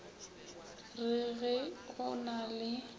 re ge go na le